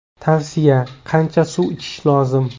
Tavsiya: qancha suv ichish lozim?